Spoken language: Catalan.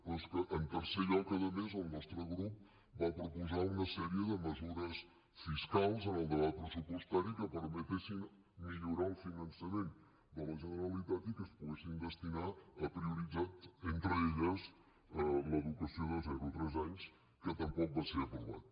però és que en tercer lloc a més el nostre grup va proposar una sèrie de mesures fiscals en el debat pressupostari que permetessin millorar el finançament de la generalitat i que es poguessin destinar a prioritzar entre elles l’educació de zero a tres anys que tampoc van ser aprovades